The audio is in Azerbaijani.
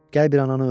Gəl bir ananı öp!